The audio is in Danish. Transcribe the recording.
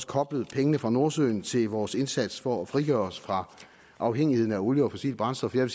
koblet pengene fra nordsøen til vores indsats for at frigøre os fra afhængigheden af olie og fossile brændstoffer jeg